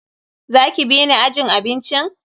Za ki bi ni ajin abincin?